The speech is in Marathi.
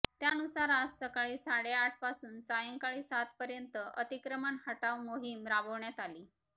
त्यानुसार आज सकाळी साडेआठपासून सायंकाळी सातपर्यंत अतिक्रमण हटाव मोहीम राबविण्यात आली